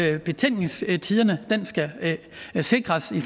at betænkningstiderne skal sikres i